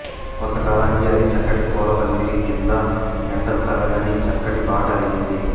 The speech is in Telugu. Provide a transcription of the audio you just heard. కొంతకాలానికి అది చక్కటి పూలపందిరి క్రింద ఎండ తగలని చక్కటి బాట అయింది